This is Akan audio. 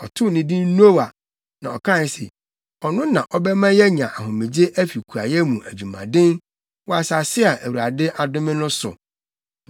Ɔtoo no din Noa, na ɔkae se, “Ɔno na ɔbɛma yɛanya ahomegye afi kuayɛ mu adwumaden wɔ asase a Awurade adome no so.”